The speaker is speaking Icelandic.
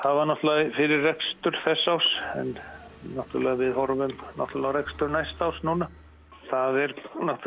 það var fyrir rekstur þessa árs við horfum á rekstur næsta árs núna það er